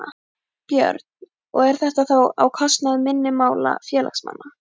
Björn: Og er þetta þá á kostnað minni mála félagsmanna?